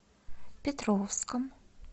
петровском